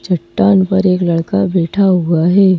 चट्टान पर एक लड़का बैठा हुआ है।